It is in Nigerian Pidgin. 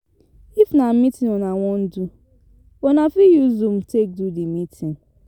If na meeting una wan do, una fit use zoom take do di meeting